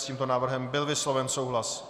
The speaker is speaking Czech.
S tímto návrhem byl vysloven souhlas.